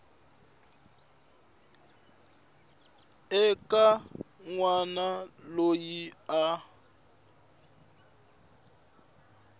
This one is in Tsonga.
eka n wana loyi a